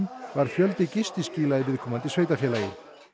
var fjöldi gistiskýla í viðkomandi sveitarfélagi